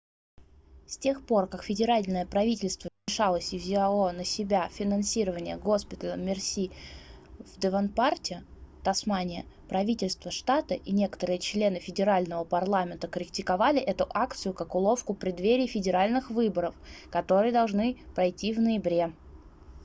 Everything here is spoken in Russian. с тех пор как федеральное правительство вмешалось и взяло на себя финансирование госпиталя мерси в девонпарте тасмания правительство штата и некоторые члены федерального парламента критиковали эту акцию как уловку в преддверии федеральных выборов которые должны пройти в ноябре